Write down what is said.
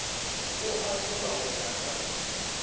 o ahlolwa go ya ka